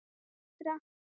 En þá dó fóstra.